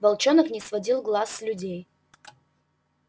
волчонок не сводил глаз с людей